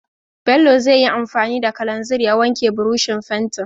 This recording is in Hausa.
Bello zai yi anfani da kalanzir ya wanke burushin fentin.